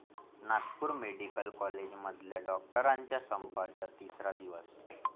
Nagpur medical कॉलेजमधल्या डॉक्टरांच्या संपाचा तिसरा दिवस